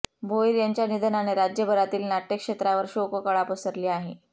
भोईर यांच्या निधनाने राज्यभरातील नाटय क्षेत्रावर शोककळा पसरली आहे